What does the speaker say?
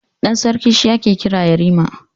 Ɗan sarki shi ake kira yarima.